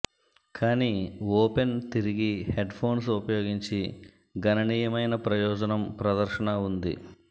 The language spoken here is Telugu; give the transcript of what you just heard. కానీ ఓపెన్ తిరిగి హెడ్ఫోన్స్ ఉపయోగించి గణనీయమైన ప్రయోజనం ప్రదర్శన ఉంది